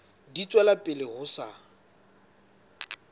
di tswela pele ho sa